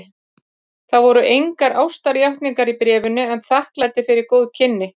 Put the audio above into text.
Það voru engar ástarjátningar í bréfinu en þakklæti fyrir góð kynni.